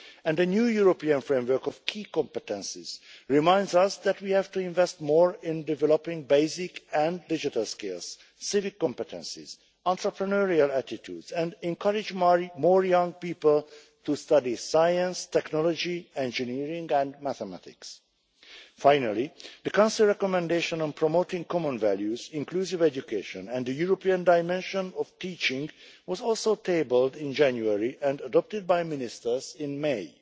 A new European framework of key competences reminds us that we have to invest more in developing basic and digital skills, civic competencies and entrepreneurial attitudes, and we have to encourage more young people to study science, technology, engineering and mathematics. Finally, the Council recommendation on promoting common values, inclusive education and the European dimension of teaching was also tabled in January and adopted by ministers in